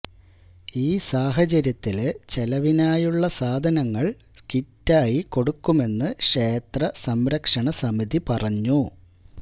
ഈ സാഹചര്യത്തില് ചെലവിനായുള്ള സാധനങ്ങള് കിറ്റായി കൊടുക്കുമെന്ന് ക്ഷേത്ര സംരക്ഷണ സമിതി പറഞ്ഞു